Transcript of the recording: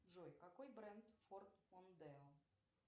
джой какой бренд форд мондео